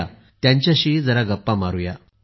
या त्यांच्याशी जरा गप्पा मारु या